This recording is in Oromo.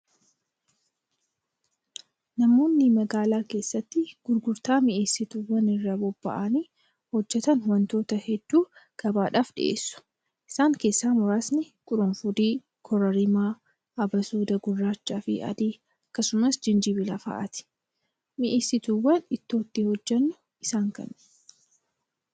Namoonni magaalaa keessatti gurgurtaa mi'eessituwwanii irratti bobba'aanii hojjatan wantoota hedduu gabaadhaaf dhiyeessu. Isaan keessaa muraasni quruffudii, kororimaa, abasuuda gurraachaa fi adii akkasumas gijinbila fa'aati. Mi'eessituuwwan ittoo ittiin hojjannu isaan kamii?